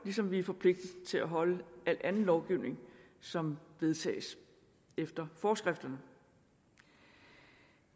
ligesom vi er forpligtet til at overholde al anden lovgivning som vedtages efter forskrifterne